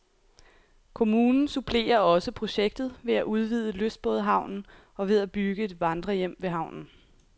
Kommunen supplerer også projektet ved at udvide lystbådehavnen og ved at bygge et vandrehjem ved havnen.